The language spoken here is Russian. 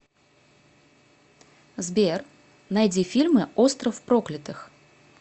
сбер найди фильмы остров проклятых